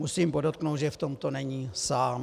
Musím podotknout, že v tomto není sám.